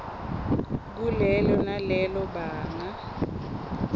kulelo nalelo banga